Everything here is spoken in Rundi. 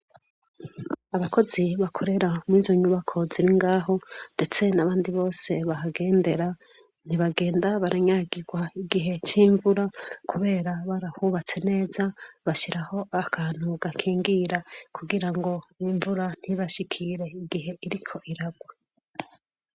Abakozi bakorera muri izo nyubako ziri ngaho, ndetse n'abandi bose bahagendera, ntibagenda baranyagirwa igihe c'imvura, kubera barahubatse neza, bashiraho akantu gakingira. Kugira ngo imvura ntibashikire igihe iriko iragwa.